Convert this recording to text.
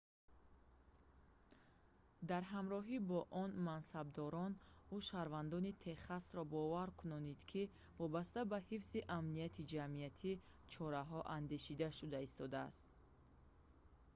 дар ҳамроҳӣ бо он мансабдорон ӯ шаҳрвандони техасро бовар кунонид ки вобаста ба ҳифзи амнияти ҷамъиятӣ чораҳо андешида шуда истодаанд